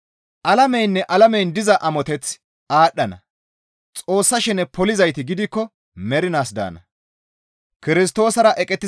Alameynne alamen diza amoteththi aadhdhana; Xoossa shene polizayti gidikko mernaas daana.